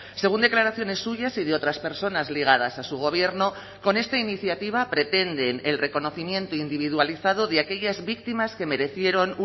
según declaraciones suyas y de otras personas ligadas a su gobierno con esta iniciativa pretenden el reconocimiento individualizado de aquellas víctimas que merecieron